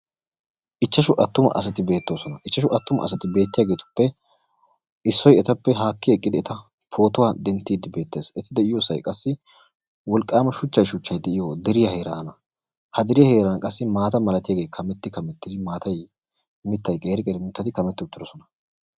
Ichchashu attuma asati beettoosona. Ichchashu attumaa asati beettiyageetuppe issoy etappe haakki eqqidi eta pootuwa denttiyddi beettees. Eti de'iyosay qassi wolqqaama shuchchay shuchchay de'iyo deriya heeraana. Ha deriya heran qassi maata malatiyagee kametti kamettidi maatay mittay qeeri qeeri mittati kametti uttidosona.